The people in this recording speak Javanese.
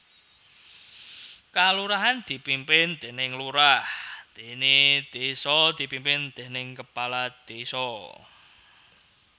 Kalurahan dipimpin déning lurah déné désa dipimpin déning kepala désa